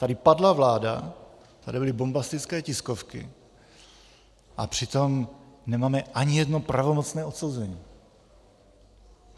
Tady padla vláda, tady byly bombastické tiskovky, a přitom nemáme ani jedno pravomocné odsouzení.